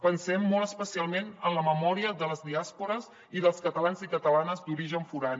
pensem molt especialment en la memòria de les diàspores i dels catalans i catalanes d’origen forà